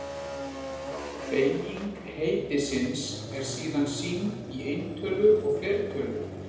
Beyging heitisins er síðan sýnd í eintölu og fleirtölu.